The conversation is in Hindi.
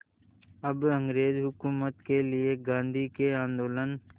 अब अंग्रेज़ हुकूमत के लिए गांधी के आंदोलन